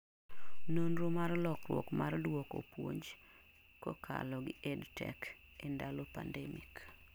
nonro mar lokruok mar duoko puonj kakalo gi EdTech ee ndalo pandemic